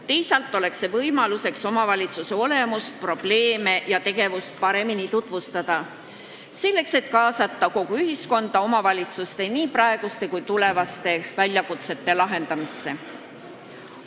Teisalt oleks see võimalus omavalitsuse olemust, probleeme ja tegevust paremini tutvustada, selleks et kaasata kogu ühiskonda omavalitsuste praeguste ja ka tulevaste väljakutsete lahendamisse.